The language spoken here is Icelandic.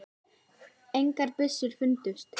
Engar byssur fundust